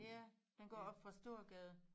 Ja den går oppe fra Storegade